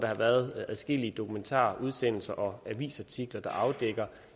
har været adskillige dokumentarudsendelser og avisartikler der har afdækket